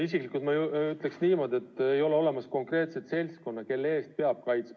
Isiklikult ma ütleksin niimoodi, et ei ole olemas konkreetset seltskonda, kelle eest peab kaitsma.